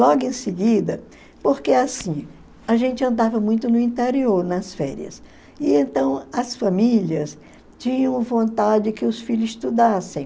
Logo em seguida, porque assim, a gente andava muito no interior nas férias, e então as famílias tinham vontade que os filhos estudassem.